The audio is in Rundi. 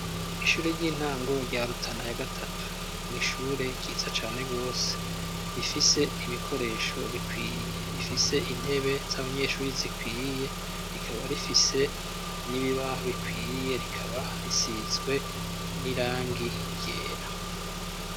Ishure ry'intango rya Rutana ya gatatu ni ishure ryiza cane rwose rifise ibikoresho bikwiye, rifise intebe z'abanyeshuri zikwiye rikaba rifise n'ibibaho bikwiiye, rikaba risizwe n'irangi ryera.